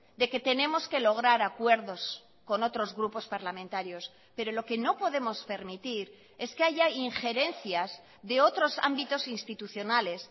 de que tenemos que lograr acuerdos con otros grupos parlamentarios pero lo que no podemos permitir es que haya injerencias de otros ámbitos institucionales